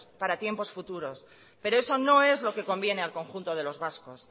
para tiempos futuros pero eso no es lo que conviene al conjunto de los vascos